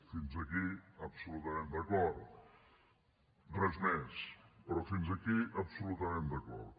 fins aquí absolutament d’acord res més però fins aquí absolutament d’acord